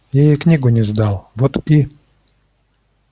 я ей книгу не сдал вот и